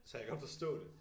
Så jeg kan godt forstå det